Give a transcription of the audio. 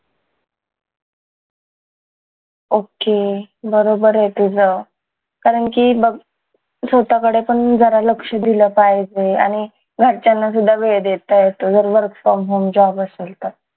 okay बरोबर ये तुझं कारण की बघ स्वतःकडे पण जरा लक्ष दिलं पाहिजे आणि घरच्यांना सुद्धा वेळ देता येतो जर work from home job असल तर